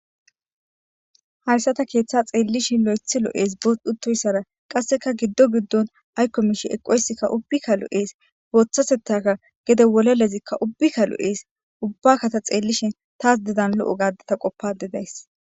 Hayssa ta keeththa xeellishin lo7ethi lo7ees butoyssara qasseka giddo giddon aykko mishi eqoysikka ubbikka lo7ees booththasetaka gede wolelezikka ubbikka lo7ees ubbakkata xeellishin taas dedan lo7o gaadeta qoppade days